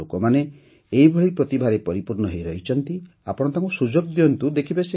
ଭାରତର ଲୋକମାନେ ଏହିଭଳି ପ୍ରତିଭାରେ ପରିପୂର୍ଣ୍ଣ ହୋଇ ରହିଛନ୍ତି ଆପଣ ତାଙ୍କୁ ସୁଯୋଗ ଦିଅନ୍ତୁ